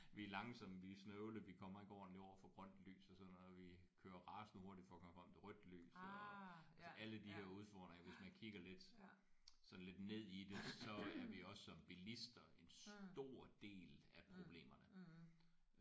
Vi er langsomme vi er snøvlede vi kommer ikke ordenligt over for grønt lys og sådan noget. Vi kører rasende hurtigt for at komme frem til rødt lys eller. Altså alle de der udfordringer hvis man kigger lidt sådan lidt ned i det så er vi også som billister en stor del af problemerne